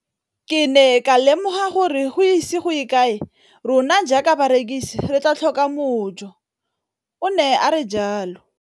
Ke ne ka lemoga gore go ise go ye kae rona jaaka barekise re tla tlhoka mojo, o ne a re jalo.